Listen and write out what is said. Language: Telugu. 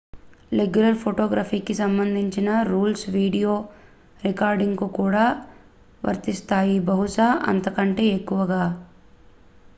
రెగ్యులర్ ఫోటోగ్రఫీకి సంబంధించిన రూల్స్ వీడియో రికార్డింగ్ కు కూడా వర్తిస్తాయి బహుశా అంతకంటే ఎక్కువగా